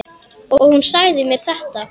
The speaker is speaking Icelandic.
Og hún sagði mér þetta.